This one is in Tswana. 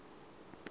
motlhale